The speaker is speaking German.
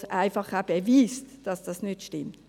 Sie beweist einfach auch, dass dies nicht stimmt.